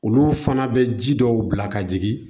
Olu fana bɛ ji dɔw bila ka jigin